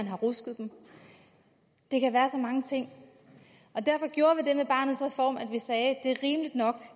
har rusket dem det kan være så mange ting derfor gjorde vi det at vi med barnets reform sagde at det er rimeligt nok